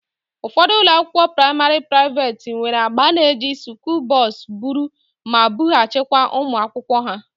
Ụfọdụ ụlọakwụkwọ praịmarị praiveeti nwere agba na-eji skuulu bọs buru ma bughachịkwa ụmụ akwụkwọ ha